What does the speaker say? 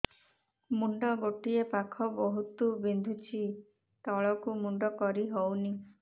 ମୁଣ୍ଡ ଗୋଟିଏ ପାଖ ବହୁତୁ ବିନ୍ଧୁଛି ତଳକୁ ମୁଣ୍ଡ କରି ହଉନି